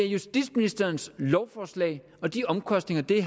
justitsministerens lovforslag og de omkostninger det